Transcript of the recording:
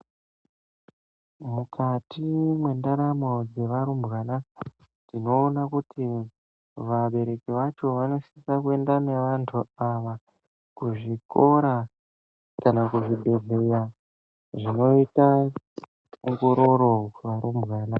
Mukati mwendaramo dzevarumbwana tinoona kuti vabereki vacho vanosisa kuenda nevantu ava kuzvikora kana kuzvibhehlera zvinoita ongororo kuvarumbwana.